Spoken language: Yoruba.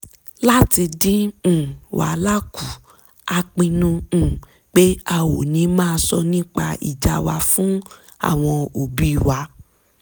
láti dín um wàhálà kù a pinnu um pé a ò ní máa sọ nìpa ìjà wa fún àwọn òbí wa